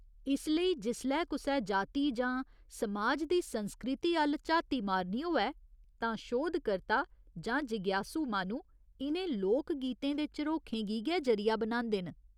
इस लेई जिसलै कुसै जाति जां समाज दी संस्कृति अ'ल्ल झाती मारनी होऐ तां शोध कर्ता जां जिज्ञासु माह्‌नू इ'नें लोकगीतें दे झरोखें गी गै जरिया बनांदे न।